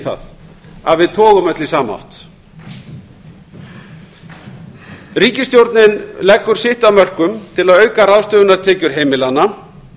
það að við togum öll í sama ríkisstjórnin leggur sitt af mörkum til að auka ráðstöfunartekjur heimilanna